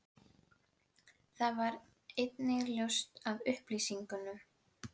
Það varð einnig ljóst af upplýsingum